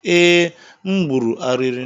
Ee, m gburu ariri